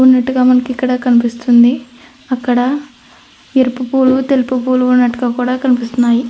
ఉన్నట్టుగా మనకిక్కడ కనిపిస్తుంది. అక్కడా ఎరుపు పూలు తెలుపు పూలు ఉన్నట్టుగా కూడా కనిపిస్తున్నాయి.